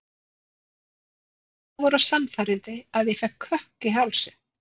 Hann var svo einlægur og sannfærandi að ég fékk kökk í hálsinn.